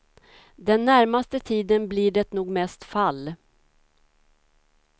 Den närmaste tiden blir det nog mest fall.